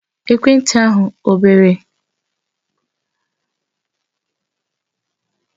Ekwentị ahụ ọ bere?